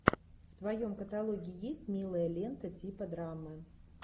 в твоем каталоге есть милая лента типа драмы